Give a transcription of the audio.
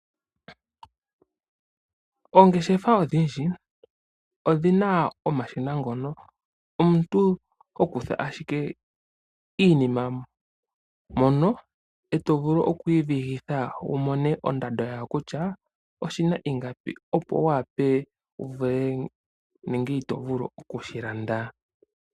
Oongeshefa odhindji odhina omashina ngono omuntu hokutha ashike iinima mono eto vulu okuyi vigitha wumone ondando yawo kutya oshina ingapi opo wu wape wuvule nenge iti vulu okushi landa.